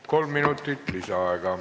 Kolm minutit lisaaega.